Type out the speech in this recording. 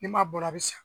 Ni m'a bɔ a bɛ sa